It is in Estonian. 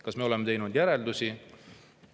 Kas me oleme teinud oma järeldusi?